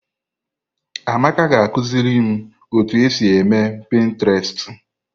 Amaka ga akụziri m otu esi eme pịntrestị.